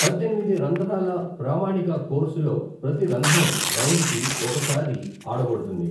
పద్దెనిమిది రంధ్రాల ప్రామాణిక కోర్సులోప్రతి రంధ్రం, రౌండుకి ఒకసారి ఆడబడుతుంది.